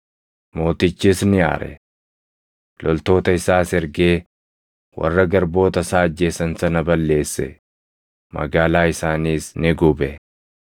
Mootichis ni aare. Loltoota isaas ergee warra garboota isaa ajjeesan sana balleesse; magaalaa isaaniis ni gube.